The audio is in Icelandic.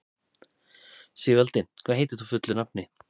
Sigvaldi, hvað heitir þú fullu nafni?